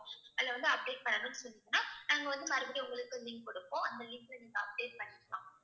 அதுல வந்து update பண்ணணும்னு சொன்னீங்கன்னா நாங்க வந்து மறுபடியும் உங்களுக்கு link கொடுப்போம் அந்த link அ நீங்க update பண்ணிக்கலாம்